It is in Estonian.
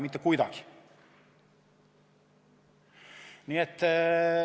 Mitte kuidagi!